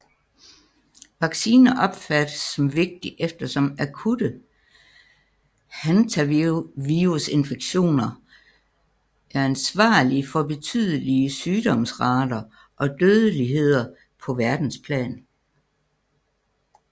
Vaccine opfattes som vigtig eftersom akutte hantavirusinfektioner er ansvarlige for betydelige sygdomsrater og dødeligheder på verdensplan